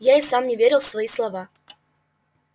я и сам не верил в свои слова